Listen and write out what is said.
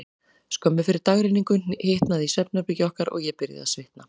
Skömmu fyrir dagrenningu hitnaði í svefnherbergi okkar, og ég byrjaði að svitna.